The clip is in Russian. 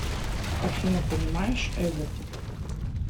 афина понимаешь эве